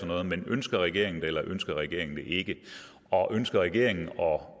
noget men ønsker regeringen det eller ønsker regeringen det ikke og ønsker regeringen at